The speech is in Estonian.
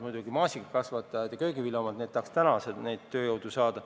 Maasikakasvatajad ja köögiviljakasvatajad aga tahaks juba täna tööjõudu saada.